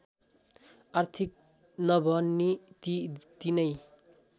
आर्थिक नभनी ती तीनै